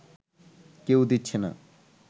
কেউ দিচ্ছে না